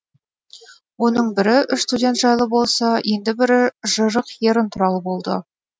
оның бірі үш студент жайлы болса енді бірі жырық ерін туралы болды